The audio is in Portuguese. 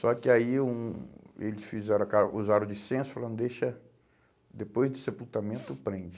Só que aí hum eles fizeram, usaram de senso, falando, deixa, depois do sepultamento, prende.